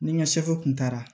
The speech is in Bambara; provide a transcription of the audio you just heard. Ni n ka kun taara